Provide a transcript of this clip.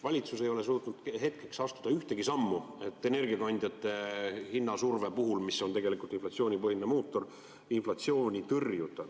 Valitsus ei ole suutnud astuda ühtegi sammu, et energiakandjate hinna surve puhul, mis on tegelikult inflatsiooni põhiline mootor, inflatsiooni tõrjuda.